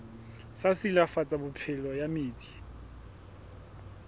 sa silafatsa phepelo ya metsi